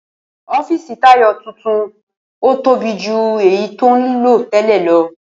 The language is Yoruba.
Ó̩fíìsì Táyò̩ tuntun tóbi ju èyí tí ó ń lò té̩lè̩ lo̩